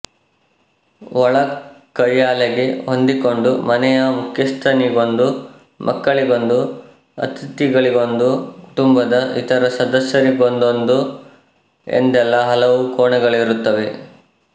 ಒಳ ಕಯ್ಯಾಲೆಗೆ ಹೊಂದಿಕೊಂಡು ಮನೆಯ ಮುಖ್ಯಸ್ಥನಿಗೊಂದು ಮಕ್ಕಳಿಗೊಂದು ಅತಿಥಿಗಳಿಗೊಂದು ಕುಟುಂಬದ ಇತರ ಸದಸ್ಯರಿಗೊಂದೊಂದು ಎಂದೆಲ್ಲಾ ಹಲವು ಕೋಣೆಗಳಿರುತ್ತವೆ